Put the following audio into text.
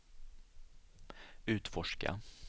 utforska